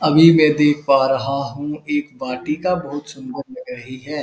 अभी में देख पा रहा हूँ एक वाटिका बहोत सुंदर लग रही है।